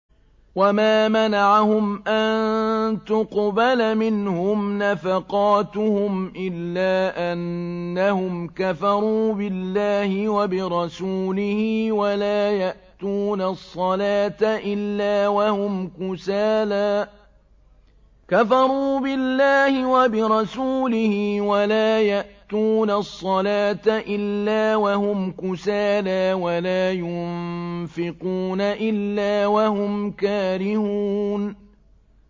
وَمَا مَنَعَهُمْ أَن تُقْبَلَ مِنْهُمْ نَفَقَاتُهُمْ إِلَّا أَنَّهُمْ كَفَرُوا بِاللَّهِ وَبِرَسُولِهِ وَلَا يَأْتُونَ الصَّلَاةَ إِلَّا وَهُمْ كُسَالَىٰ وَلَا يُنفِقُونَ إِلَّا وَهُمْ كَارِهُونَ